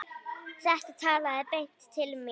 Þetta talaði beint til mín.